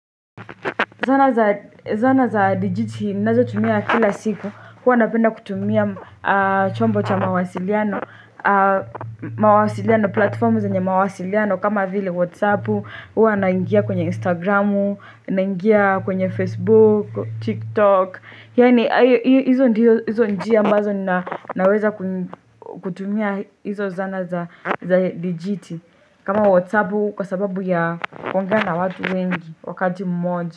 Zana za digiti ninazotumia kila siku huwa napenda kutumia chombo cha mawasiliano, platform zenye mawasiliano kama vile Whatsapp, huwa naingia kwenye Instagram, naingia kwenye Facebook, TikTok. Yaani hizo ndizo njia ambazo naweza kutumia hizo zana za dijiti kama Whatsapp kwa sababu ya kuongea na watu wengi wakati mmoja.